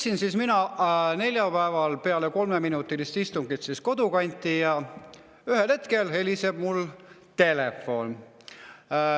Sõitsin mina neljapäeval peale kolmeminutilist istungit kodukanti ja ühel hetkel helises mul telefon.